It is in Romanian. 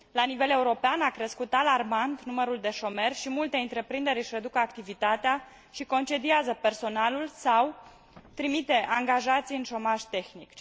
La nivel european a crescut alarmant numărul de șomeri și multe întreprinderi își reduc activitatea și concediază personalul sau trimit angajații în șomaj tehnic.